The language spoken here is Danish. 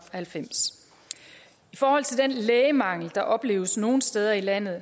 halvfems i forhold til den lægemangel der opleves nogle steder i landet